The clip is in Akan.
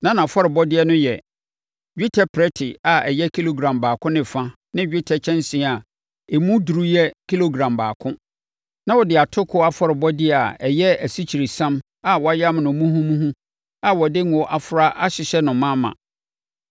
Na nʼafɔrebɔdeɛ no yɛ: dwetɛ prɛte a ɛyɛ kilogram baako ne fa ne dwetɛ kyɛnsee a emu duru yɛ kilogram baako. Na wɔde atokoɔ afɔrebɔdeɛ a ɛyɛ asikyiresiam a wɔayam no muhumuhu a wɔde ngo afra ahyehyɛ no ma ma.